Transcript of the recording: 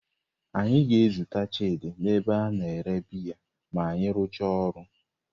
Anyị ga-ezute Chidi n'ebe a na-ere biya ma anyị rụchaa ọrụ.